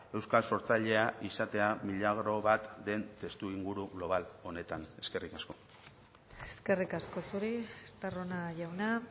euskal sortzailea izatea milagro bat den testuinguru global honetan eskerrik asko eskerrik asko zuri estarrona jauna